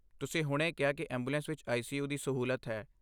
ਤੁਸੀਂ ਹੁਣੇ ਕਿਹਾ ਕਿ ਐਂਬੂਲੈਂਸ ਵਿੱਚ ਆਈ.ਸੀ.ਯੂ. ਦੀ ਸਹੂਲਤ ਹੈ।